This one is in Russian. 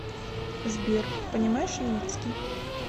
сбер понимаешь юитский